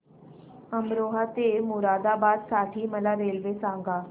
अमरोहा ते मुरादाबाद साठी मला रेल्वे सांगा